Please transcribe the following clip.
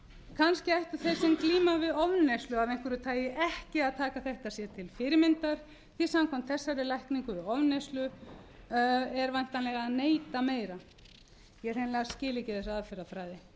kannski ættu þeir sem glíma við ofneyslu af einhverju tagi ekki að taka þetta sér til fyrirmyndar því samkvæmt þessari lækningin við ofneyslu er væntanlega að neyta meira ég hreinlega skil ekki þessa aðferðafræði